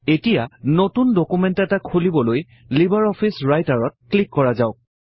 এতিয়া নতুন ডকুমেন্ট এটা খুলিবলৈ লিবাৰ অফিচ ৰাইটাৰত ক্লিক কৰা যাওঁক